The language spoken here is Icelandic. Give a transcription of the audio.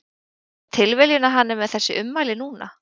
Er það tilviljun að hann er með þessi ummæli núna?